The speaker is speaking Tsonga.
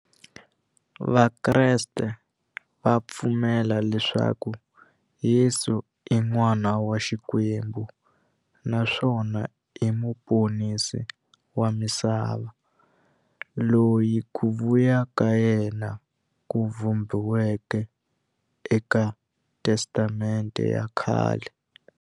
Vakreste va pfumela leswaku Yesu i n'wana wa Xikwembu naswona i muponisi wa misava, loyi ku vuya ka yena ku vhumbiweke eka Testamente ya khale.